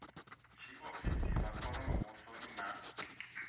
tshiofisi vha khoro muvhusoni na